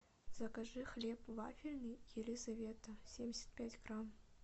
закажи хлеб вафельный елизавета семьдесят пять грамм